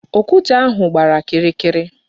Okwute ahụ gbara kịrịkịrị.